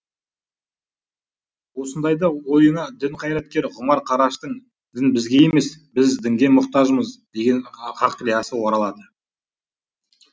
осындайда ойыңа дін қайраткері ғұмар қараштың дін бізге емес біз дінге мұқтажымыз деген ғақлиясы оралады